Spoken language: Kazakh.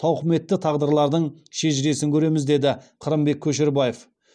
тауқыметті тағдырлардың шежіресін көреміз деді қырымбек көшербаев